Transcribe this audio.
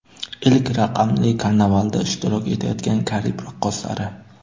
Ilk raqamli karnavalda ishtirok etayotgan Karib raqqoslari.